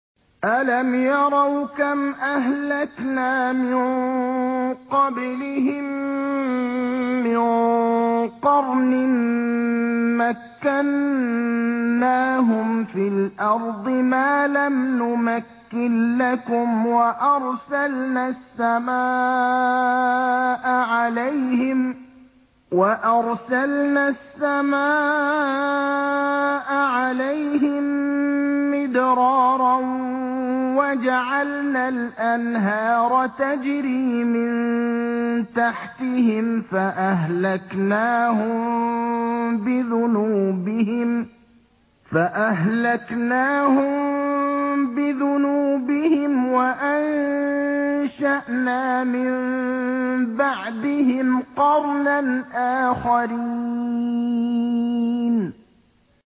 أَلَمْ يَرَوْا كَمْ أَهْلَكْنَا مِن قَبْلِهِم مِّن قَرْنٍ مَّكَّنَّاهُمْ فِي الْأَرْضِ مَا لَمْ نُمَكِّن لَّكُمْ وَأَرْسَلْنَا السَّمَاءَ عَلَيْهِم مِّدْرَارًا وَجَعَلْنَا الْأَنْهَارَ تَجْرِي مِن تَحْتِهِمْ فَأَهْلَكْنَاهُم بِذُنُوبِهِمْ وَأَنشَأْنَا مِن بَعْدِهِمْ قَرْنًا آخَرِينَ